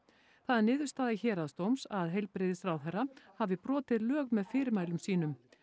það er niðurstaða Héraðsdóms að heilbrigðisráðherra hafi brotið lög með fyrirmælum sínum